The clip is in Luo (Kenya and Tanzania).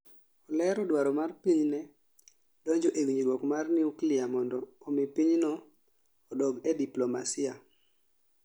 Olero dwaro mar pinyne donjo e winjruok mar nuklia mondo omii pinyno odok e diplomasia